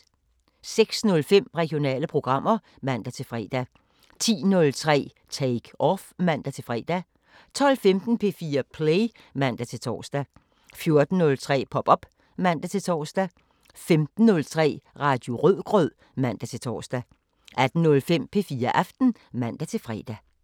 06:05: Regionale programmer (man-fre) 10:03: Take Off (man-fre) 12:15: P4 Play (man-tor) 14:03: Pop op (man-tor) 15:03: Radio Rødgrød (man-tor) 18:05: P4 Aften (man-fre)